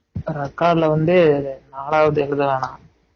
record ல வந்து நாளாவது எழுத வேணாம்